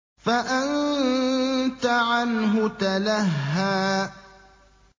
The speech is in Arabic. فَأَنتَ عَنْهُ تَلَهَّىٰ